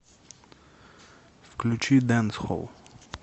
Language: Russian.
включи дэнсхолл